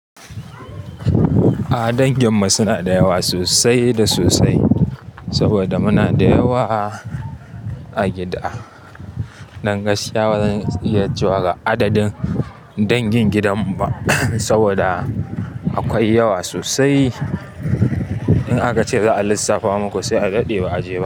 A dangin mu suna da yawa sosai da sosai saboda muna da yawa a gida. Dan gaskiya bazan iya cewa ga adadin dangin gidan mu ba saboda akwai yawa sosai. In aka ce za a lissafa muku sai a daɗe ba a je ba.